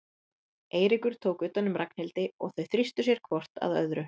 Eiríkur tók utan um Ragnhildi og þau þrýstu sér hvort að öðru.